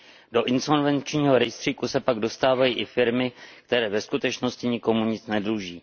Do insolvenčního rejstříku se pak dostávají i firmy, které ve skutečnosti nikomu nic nedluží.